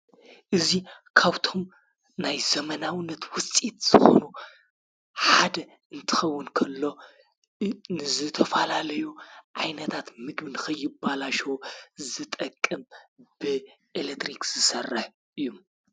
እዙ ካውቶም ናይ ዘመናውነት ውጢት ዝኾኑ ሓደ እንትኸውን ከሎ ንዝተፋላለዩ ኣይነታት ምግቢ ንኽይባላሸዎ ዝጠቅም ብኤለትሪክ ዝሠረህ እዩ፡፡